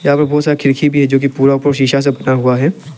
और बहोत सारी खिड़की भी है जो की पूरा शीशे से भरा हुआ है।